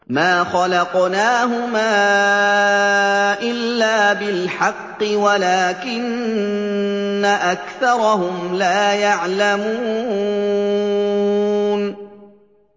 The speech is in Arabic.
مَا خَلَقْنَاهُمَا إِلَّا بِالْحَقِّ وَلَٰكِنَّ أَكْثَرَهُمْ لَا يَعْلَمُونَ